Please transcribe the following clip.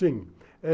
Sim.